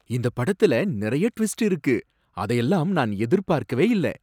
இந்த படத்துல நிறைய டுவிஸ்டு இருக்கு! அதையெல்லாம் நான் எதிர்பார்க்கவே இல்ல.